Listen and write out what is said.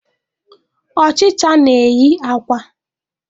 Ọchịcha na-eyi akwa.